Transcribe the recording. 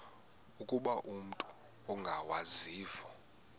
ukuba umut ongawazivo